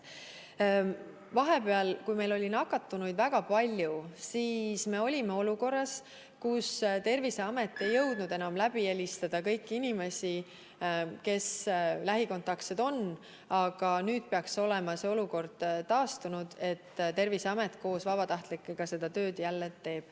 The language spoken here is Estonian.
Vahepeal, kui meil oli nakatunuid väga palju, olime me olukorras, kus Terviseamet ei jõudnud enam kõiki lähikontaktseid läbi helistada, aga nüüd peaks olema see olukord taastunud ja Terviseamet koos vabatahtlikega jälle seda tööd teeb.